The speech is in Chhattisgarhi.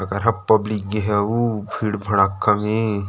अलकरहा पब्लिक गे हे अऊ भीड़ भड़क्का मे--